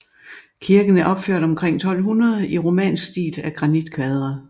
Kirken er opført omkring 1200 i romansk stil af granitkvadre